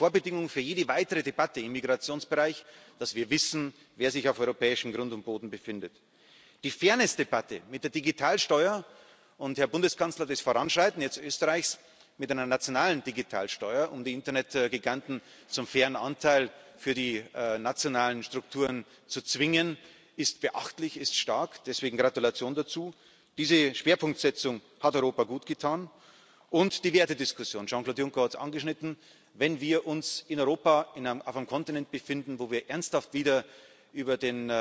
es ist die Vorbedingung für jede weitere Debatte im Migrationsbereich, dass wir wissen, wer sich auf europäischem Grund und Boden befindet. Die Fairnessdebatte mit der Digitalsteuer und, Herr Bundeskanzler, das Voranschreiten jetzt Österreichs mit einer nationalen Digitalsteuer, um die Internetgiganten zu einem fairen Anteil für die nationalen Strukturen zu zwingen, ist beachtlich, ist stark. Deswegen Gratulation dazu! Diese Schwerpunktsetzung hat Europa gutgetan. Und die Wertediskussion Jean Claude Juncker hat es angeschnitten Wenn wir uns in Europa auf einem Kontinent befinden, wo wir ernsthaft wieder